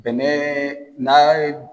Bɛnɛɛɛ naa ye.